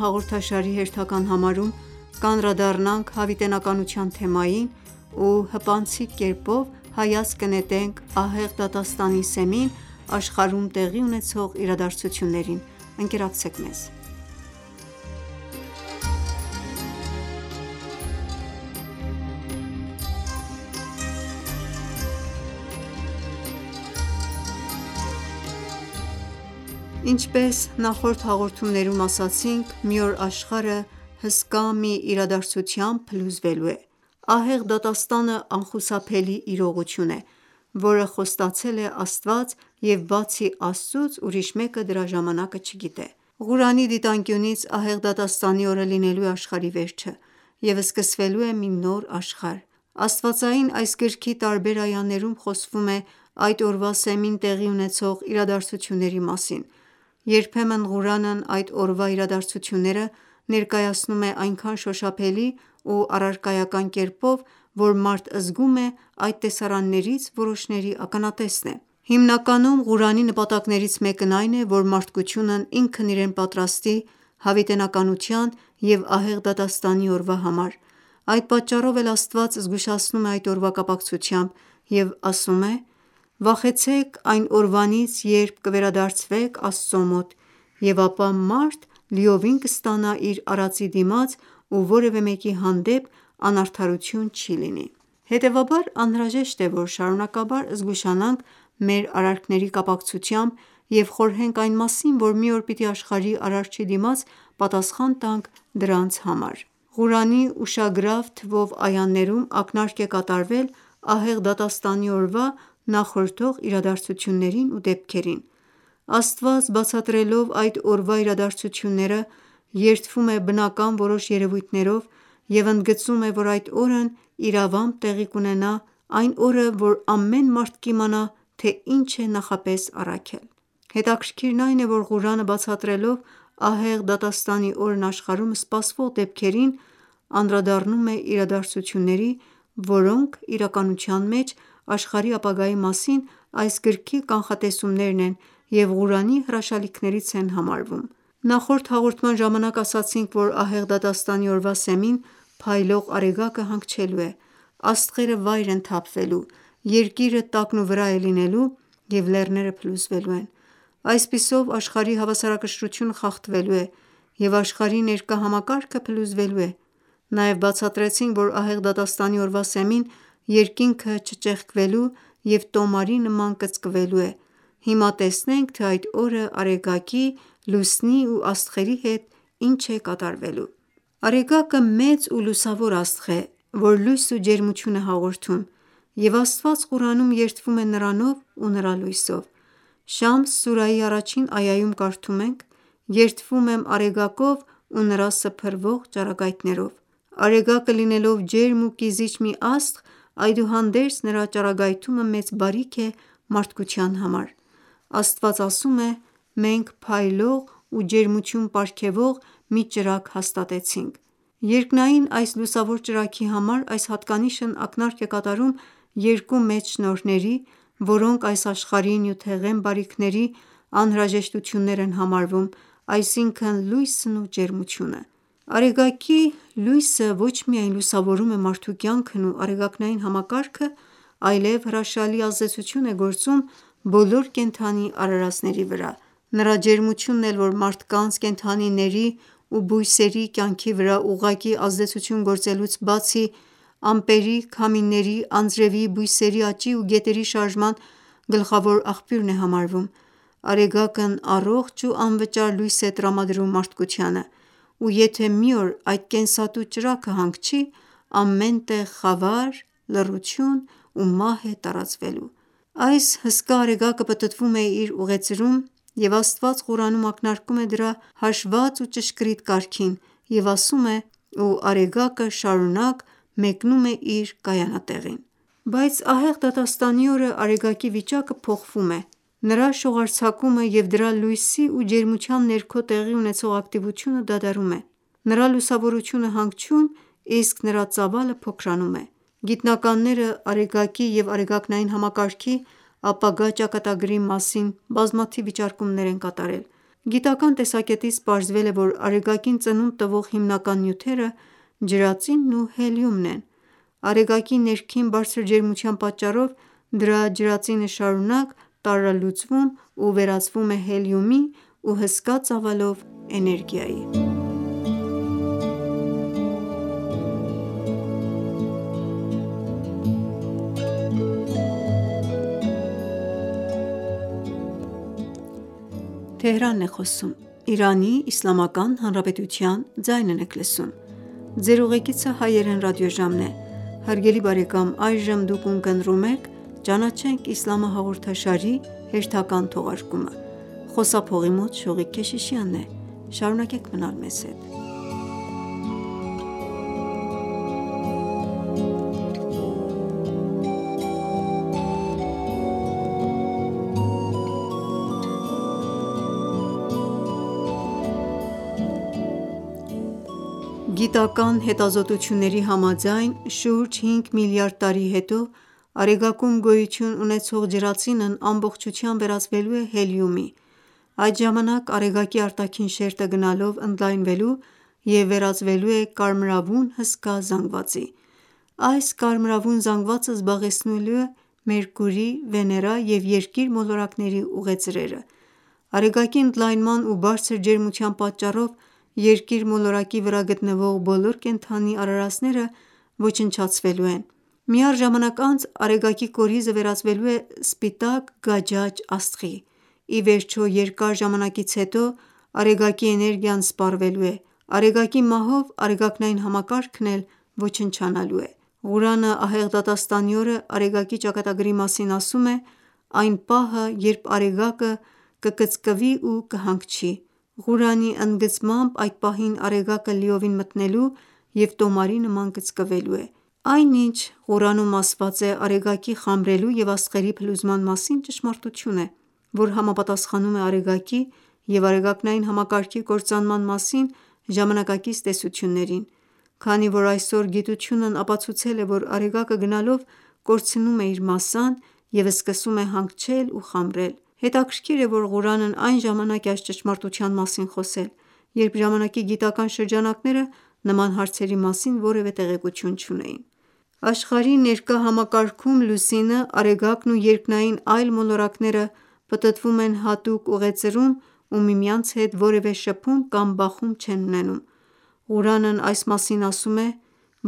հաղորդաշարի հերթական համարում կանդրադառնանք հավիտենականության թեմային ու հպանցիկ հայացք կնետենք ահեղ դատաստանի սեմին աշխարհում տեղի ունեցող իրադարձություններին: Ինչպես ասացինք մի օր աշխարհը հսկա մի իրադարձությամբ փլուզվելու է: Ահեղ դատաստանը անխուսափելի իրողություն է, որը խոստացել է Աստված և բացի Աստծուց ուրիշ մեկը դրա ժամանակը չի իմանում: Ղուրանի դիտանկյունից ահեղ դատաստանի օրը լինելու է աշխարհի վերջը և սկսվելու է մի նոր աշխարհ: Աստվածային այս գրքի տարբեր այաներում խոսվում է այդ օրվա սեմին տեղի ունեցող իրադարձությունների մասին: Երբեմն Ղուրանն այդ օրվա իրադարձությունները ներկայացնում է այնքան շոշափելի ու առարկայական կերպով, որ մարդ զգում է այդ տեսարաններից որոշների ականատեսն է: Հիմնականում Ղուրանի նպատակներից մեկն այն է, որ մարդկությունն ինքն իրեն պատրաստի հավիտենականության և ահեղ դատաստանի օրվա համար: Այդ պատճառով էլ Աստված զգուշացնում է այդ օրվա կապակցությամբ և ասում է. «Վախեցեք այն օրվանից երբ կվերադարձվեք Աստծո մոտ և ապա ամեն մարդ լիովին կստանա իր արածի դիմաց ու որևէ մեկի հանդեպ անարդարություն չի լինի»: («Բաղարա», 281-րդ այա) Հետևաբար անհրաժեշտ է, որ շարունակաբար զգուշանանք մեր արարքների կապակցությամբ և խորհենք այն մասին, որ մի օր պիտի աշխարհի արարչի դիմաց պատասխան տանք դրանց համար: Ղուրանի ուշագրավ թվով այաներում ակնարկ է կատարվել ահեղ դատաստանի օրվա նախորդող իրադարձություններին ու դեպքերին: Աստված բացատրելով այդ օրվա իրադարձությունները երդվում է բնական որոշ երևույթներով և ընդգծում է, որ այդ օրն իրավամբ տեղի կունենա, այն օրը, որ ամեն մարդ կիմանա, թե ինչ է նախապես առաքել: Հետաքրքիրն այն է, որ Ղուրանը բացատրելով ահեղ դատաստանի օրն աշխարհում սպասվող դեպքերին անդրադառնում է իրադարձությունների, որոնք իրականության մեջ աշխարհի ապագայի մասին այս գրքի կանխատեսումներն են և Ղուրանի հրաշալիքներից են համարվում: Նախորդ հաղորդման ժամանակ ասացինք, որ ահեղ դատաստանի օրվա սեմին փայլող Արեգակը հանգչելու է, աստղերը վայր են թափվելու, Երկիրը տակն ու վրա է լինելու և լեռները փլուզվելու են: Այսպիսով աշխարհի հավասարակշռությունը խախտվելու է և աշխարհի ներկա համակարգը փլուզվելու է: Նաև բացատրեցինք, որ Ահեղ դատաստանի օրվա սեմին երկինքը չճեղքվելու և տոմարի նման կծկվելու է: Հիմա տեսնենք, թե այդ օրը Արեգակի, Լուսնի ու աստղերի հետ ի՞նչ է կատարվելու: Արեգակը մեծ ու լուսավոր աստղ է, որ լույս ու ջերմություն է հաղորդում և Աստված Ղուրանում երդվում է նրանով ու նրա լույսով: «Շամս» սուրայի առաջին այաում կարդում ենք. «Երդվում եմ Արեգակով ու նրա սփռվող ճառագայթներով»: Արեգակը լինելով ջերմ ու կիզիչ մի աստղ, այդուհանդերձ նրա ճառագայթումը մեծ բարիք է մարդկության համար: Աստված ասում է. «Մենք փայլող ու ջերմություն պարգևող մի ճրագ հաստատեցինք»: («Նաբաա», 13-րդ այա) Երկնային այս լուսավոր ճրագի համար այս հատկանիշն ակնարկ է կատարում երկու մեծ շնորհների, որոնք այս աշխարհի նյութեղեն բարիքների անհրաժեշտություններ են համարվում, այսինքն լույսն ու ջերմությունը: Արեգակի լույսը ոչ միայն լուսավորում է մարդու կյանքն ու Արեգակնային համակարգը, այլև հրաշալի ազդեցություն է գործում բոլոր կենդանի արարածների վրա: Նրա ջերմությունն էլ, որ մարդկանց, կենդանիների ու բույսերի կյանքի վրա ուղղակի ազդեցություն գործելուց բացի ամպերի, քամիների, անձրևի, բույսերի աճի ու գետերի շարժման գլխավոր աղբյուրն է համարվում: Արեգակն առողջ ու անվճար լույս է տրամադրում մարդկությանը ու եթե մի օր այդ կենսատու ճրագը հանգչի ամեն տեղ խավար, լռություն ու մահ է տարածվելու: Այս հսկա Արեգակը պտտվում է իր ուղեծրում ու Աստված Ղուրանում ակնարկում է դրա հաշվված ու ճշգրիտ կարգին և ասում է. «Ու Արեգակը շարունակ մեկնում է իր կայանատեղին»: («Յասին» 38-րդ այա) Բայց ահեղ դատաստանի օրը Արեգակի վիճակը փոխվում է: Նրա շողարձակումը և դրա լույսի ու ջերմության ներքո տեղի ունեցող ակտիվությունը դադարում են: Նրա լուսավորությունը հանգչում, իսկ նրա ծավալը փոքրանում է: Գիտնականները Արեգակի և Արեգակնային համակարգի ապագա ճակատագրի մասին բազմաթիվ վիճարկումներ են կատարել: Գիտական տեսակետից պարզվել է, որ Արեգակին ծնունդ տված հիմնական նյութերը ջրածինն ու հելիումն են: Արեգակի ներքին բարձր ջերմության պատճառով դրա ջրածինը շարունակ տարրալուծվում ու վերածվում է հելիումի ու հսկա ծավալով էներգիայի: Գիտական հետազոտությունների համաձայն շուրջ 5 միլիարդ տարի հետո Արեգակում գոյություն ունեցող ջրածինն ամբողջությամբ վերածվելու է հելիումի: Այդ ժամանակ Արեգակի արտաքին շերտը գնալով ընդլայնվելու և վերածվելու է կարմրավուն հսկա զանգվածի: Այս կարմրավուն զանգվածը զբաղեցնելու է Մերկուրի, Վեներա և Երկիր մոլորակների ուղեծրերը: Արեգակի ընդլայնման ու բարձր ջերմության պատճառով Երկիր մոլորակի վրա գտնվող բոլոր կենդանի արարածները ոչնչացվելու են: Մի առ ժամանակ անց Արեգակի կորիզը վերածվելու է սպիտակ գաճաճ աստղի: Ի վերջո երկար ժամանակից հետո Արեգակի էներգիան սպառվելու է: Արեգակի մահով Արեգակնային համակարգն էլ ոչնչանալու է: Ղուրանը ահեղ դատաստանի օրը Արեգակի ճակատագրի մասին ասում է. «Այն պահը, երբ Արեգակը կկծկվի ու կհանգչի»: («Թաքվիր», առաջին այա) Ղուրանի ընդգծմամբ այդ պահին Արեգակը լիովին մթնելու և տոմարի նման կծկվելու է: Այն ինչ Ղուրանում ասված է Արեգակի խամրելու և աստղերի փլուզման մասին ճշմարտություն է, որ համապատասխանում է Արեգակի և Արեգակնային համակարգի կործանման մասին ժամանակակից տեսություններին: Քանի որ այսօր գիտությունն ապացուցել է, որ Արեգակը գնալով կորցնում է իր մասսան և սկսում է հանգչել ու խամրել: Հետաքրքիր է, որ Ղուրանն այն ժամանակ է այս ճշմարտության մասին խոսում, երբ ժամանակի գիտական շրջանակները նման հարցերի մասին որևէ տեղեկություն չունէին: Աշխարհի ներկա համակարգում Լուսինը, Արեգակն ու երկնային այլ մոլորակները պտտվում են հատուկ ուղեծրում ու միմյանց հետ որևէ շփում կամ բախում չեն ունենում: Ղուրանն այս մասին ասում է.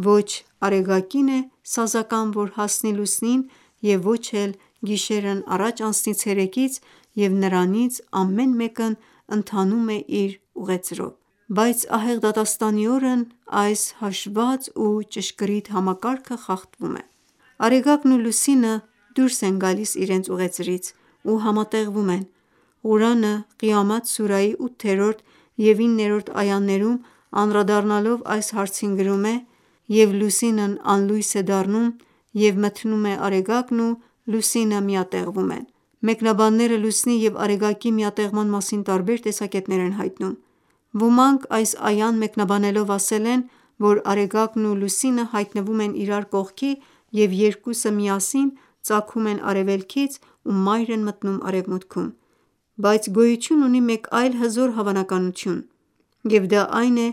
«Ոչ Արեգակին է սազական որ հասնի Լուսնին և ոչ էլ գիշերն առաջ անցնի ցերեկից և նրանցից ամեն մեկն ընթանում է իր ուղեծրով»: («Յասին» 40-րդ այա) Բայց ահեղ դատաստանի օրն այս հաշվված ու ճշգրիտ համակարգը խախտվում է: Արեգակն ու Լուսինը դուրս են գալիս իրենց ուղեծրից ու համատեղվում են: Ղուրանը «Ղիամաթ» սուրայի 8-րդ և 9-րդ այաներում անդրադառնալով այս հարցին գրում է. «Եվ Լուսինն անլույս է դառնում ու մթնում է և Արեգակն ու Լուսինը միատեղվում են»: Մեկնաբանները Լուսնի և Արեգակի միատեղման մասին տարբեր տեսակետներ են հայտնում: Ոմանք այս այան մեկնաբանելով ասել են, որ Արեգակն ու Լուսինը հայտնվում են իրար կողքի և երկուսը միասին ծագում են արևելքից ու մայր են մտնում արևմուտքում: Բայց գոյություն մեկ այլ հզոր հավանականություն և դա այն է,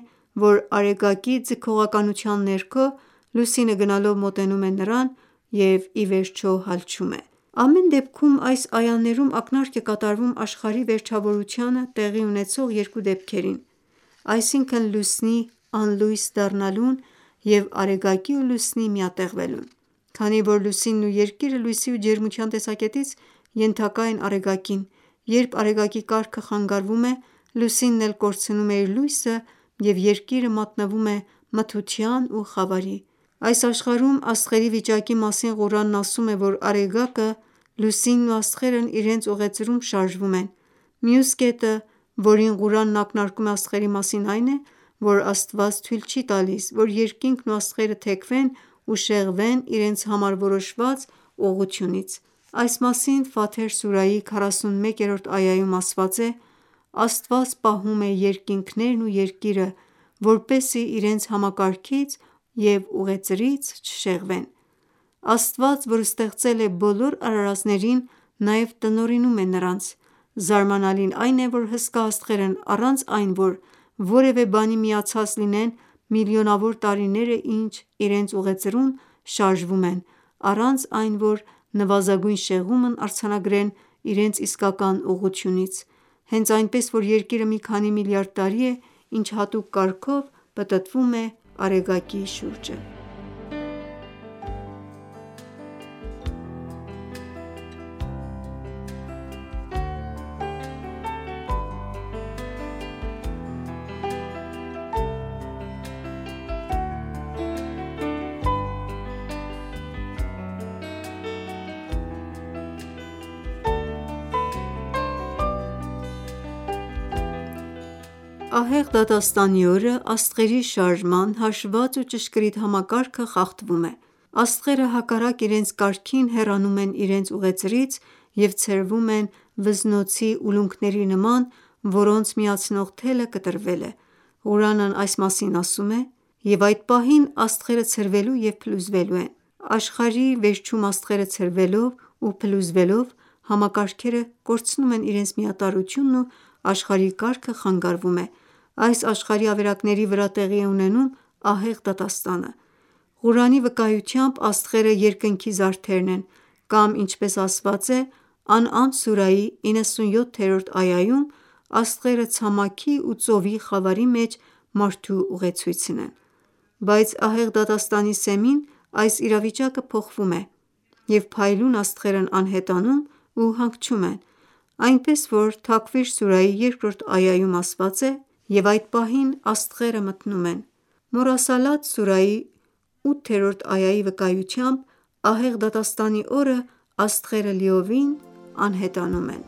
որ Արեգակի ձգողականության ներքո Լուսինը գնալով մոտենում է նրան ու ի վերջ հալչում է: Ամեն դեպքում այս այաներում ակնարկ է կատարվում աշխարհի վերջավորությանը տեղի ունեցող երկու դեպքերին, այսինքն Լուսնի անլույս դառնալուն և Արեգակի ու Լուսնի միատեղվելուն: Քանի որ Լուսինն ու Երկիրը լույսի ու ջերմության տեսակետից ենթակա են Արեգակին, երբ Արեգակի կարգը խանգարվում է, Լուսինն էլ կորցնում է իր լույսը և Երկիրը մատնվում է մթության ու խավարի: Այս աշխարհում աստղերի վիճակի մասին Ղուրանն ասում է, որ Արեգակը, Լուսինն ու աստղերն իրենց ուղեծրում շարժվում են: Մյուս կետը, որին Ղուրանն ակնարկում է աստղերի մասին այն է, որ Աստված թույլ չի տալիս որ երկինքն ու աստղերը թեքվեն ու շեղվեն իրենց համար որոշված ուղղությունից: սուրայի 41-րդ այաում ասված է. «Աստված պահում է երկինքներն ու Երկիրը, որպեսզի իրենց համակարգից ու ուղեծրից չշեղվեն»: Աստված որ ստեղծել է բոլոր արարածներին նաև տնօրինում է նրանց: Զարմանալին այն է, որ հսկա աստղերն առանց այն որ որևէ բանի միացած լինեն միլիոնավոր տարիներ է ինչ իրենց ուղեծրում շարժվում են, առանց այն որ նվազագույն շեղումն արձանագրեն իրենց իսկական ուղղությունից, հենց այնպես որ Երկիրը մի քանի միլիարդ տարի է ինչ հատուկ կարգով պտտվում է Արեգակի շուրջը: Բայց ահեղ դատաստանի օրը աստղերի շարժման հաշվված ու ճշգրիտ համակարգը խախտվում է: Աստղերը հակառակ իրենց կարգին հեռանում են իրենց ուղեծրից և ցրվում են վզնոցի ուլունքների նման, որոնց միացնող թելը կտրվել է: Ղուրանն այս մասին ասում է. «Եվ այդ պահին աստղերը ցրվելու և փլուզվելու են»: («Էնֆթար» 2-րդ այա) Աշխարհի վերջում աստղերը ցրվելով ու փլուզվելով համակարգերը կորցնում են իրենց միատարրությունն ու աշխարհի կարգը խանգարվում է: Այս աշխարհի ավերակների վրա տեղի է ունենում ահեղ դատաստանը: Ղուրանի վկայությամբ աստղերը երկնքի զարդերն են կամ ինչպես ասված է «Անըամ» սուրայի 97-րդ այաում աստղերը ցամաքի ու ծովի խավարի մեջ մարդու ուղեցույցն են: Բայց ահեղ դատաստանի սեմին այս իրավիճակը փոխվում է և փայլուն աստղերն անհետանում ու հանգչում են: Այնպես որ «Թաքվիր» սուրայի 2-րդ այաում ասում է. «Եվ այդ պահին աստղերը մթնում են»: «Մորսալաթ» սուրայի 8-րդ այաի վկայությամբ ահեղ դատաստանի օրն աստղերը լիովին անհետանում են: